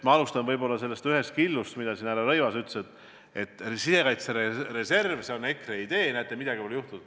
Ma alustan ühest killust, mida härra Rõivas mainis: et sisekaitsereserv, see EKRE idee, on ellu viimata, midagi pole juhtunud.